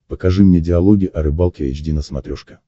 покажи мне диалоги о рыбалке эйч ди на смотрешке